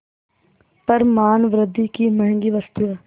पर मानवृद्वि की महँगी वस्तु है